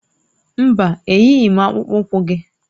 Mba, eyighị m akpụkpọ ụkwụ gị